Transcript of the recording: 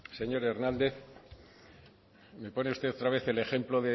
señor hernández me pone usted otra vez el ejemplo